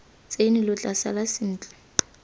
tsene lo tla sala sentle